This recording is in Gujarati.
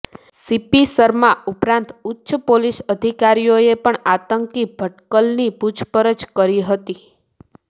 સીપી શર્મા ઉપરાંત ઉચ્ચ પોલીસ અધિકારીઓએ પણ આતંકી ભટકલની પૂછપરછ કરી હતી